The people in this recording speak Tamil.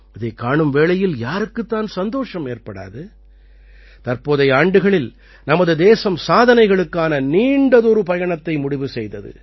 இதைக் காணும் வேளையில் யாருக்குத் தான் சந்தோஷம் ஏற்படாது தற்போதைய ஆண்டுகளில் நமது தேசம் சாதனைகளுக்கான நீண்டதொரு பயணத்தை முடிவு செய்தது